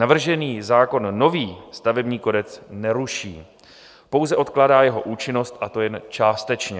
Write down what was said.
Navržený zákon nový stavební kodex neruší, pouze odkládá jeho účinnost, a to jen částečně.